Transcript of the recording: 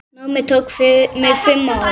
Námið tók mig fimm ár.